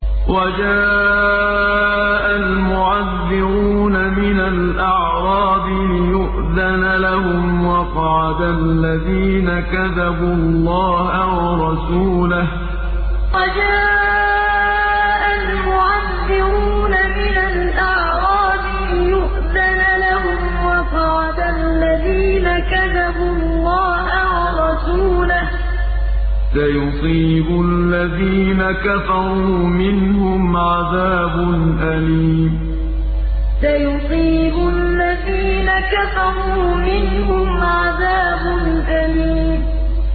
وَجَاءَ الْمُعَذِّرُونَ مِنَ الْأَعْرَابِ لِيُؤْذَنَ لَهُمْ وَقَعَدَ الَّذِينَ كَذَبُوا اللَّهَ وَرَسُولَهُ ۚ سَيُصِيبُ الَّذِينَ كَفَرُوا مِنْهُمْ عَذَابٌ أَلِيمٌ وَجَاءَ الْمُعَذِّرُونَ مِنَ الْأَعْرَابِ لِيُؤْذَنَ لَهُمْ وَقَعَدَ الَّذِينَ كَذَبُوا اللَّهَ وَرَسُولَهُ ۚ سَيُصِيبُ الَّذِينَ كَفَرُوا مِنْهُمْ عَذَابٌ أَلِيمٌ